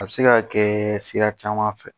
A bɛ se ka kɛ sira caman fɛ